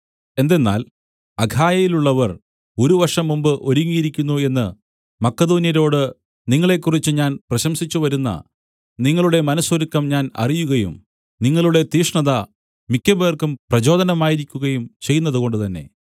എന്തെന്നാൽ അഖായയിലുള്ളവർ ഒരു വർഷം മുമ്പ് ഒരുങ്ങിയിരിക്കുന്നു എന്ന് മക്കെദോന്യരോട് നിങ്ങളെക്കുറിച്ച് ഞാൻ പ്രശംസിച്ചുവരുന്ന നിങ്ങളുടെ മനസ്സൊരുക്കം ഞാൻ അറിയുകയും നിങ്ങളുടെ തീക്ഷ്ണത മിക്കപേർക്കും പ്രചോദനമായിരിക്കുകയും ചെയ്യുന്നതുകൊണ്ട് തന്നെ